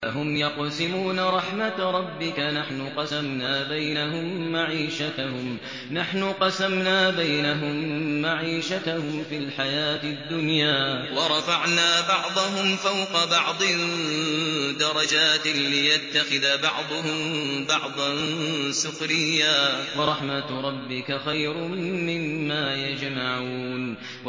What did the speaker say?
أَهُمْ يَقْسِمُونَ رَحْمَتَ رَبِّكَ ۚ نَحْنُ قَسَمْنَا بَيْنَهُم مَّعِيشَتَهُمْ فِي الْحَيَاةِ الدُّنْيَا ۚ وَرَفَعْنَا بَعْضَهُمْ فَوْقَ بَعْضٍ دَرَجَاتٍ لِّيَتَّخِذَ بَعْضُهُم بَعْضًا سُخْرِيًّا ۗ وَرَحْمَتُ رَبِّكَ خَيْرٌ مِّمَّا يَجْمَعُونَ